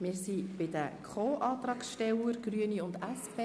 Wir sind bei den Co-Antragstellern der Grünen und der SP.